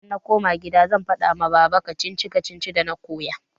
Idan na koma kida zan faɗa wa baba. kacici-kacicin dana koyo.